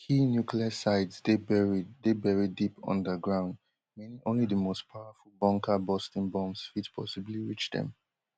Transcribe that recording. key nuclear sites dey buried dey buried deep underground meaning only di most powerful bunkerbusting bombs fit possibly reach dem